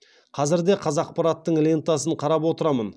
қазір де қазақпараттың лентасын қарап отырамын